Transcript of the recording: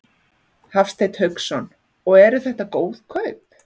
Hafsteinn Hauksson: Og eru þetta góð kaup?